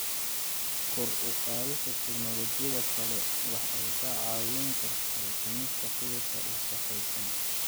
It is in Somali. Kor u qaadida teknolojiyadda kale waxay ka caawin kartaa dhimista qiiqa wasakhaysan.